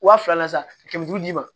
Wa fila na san kɛmɛ duuru d'i ma